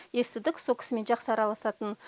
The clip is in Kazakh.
естідік сол кісімен жақсы араласатынын